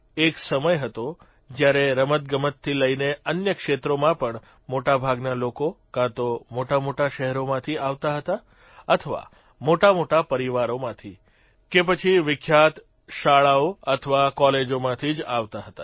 એક સમય હતો જયારે રમતગમતથી લઇને અન્ય ક્ષેત્રોમાં પણ મોટાભાગના લોકો કાં તો મોટામોટા શહેરોમાંથી આવતા હતા અથવા મોટામોટા પરિવારમાંથી કે પછી વિખ્યાત શાળાઓ અથવા કોલેજોમાંથી જ આવતા હતા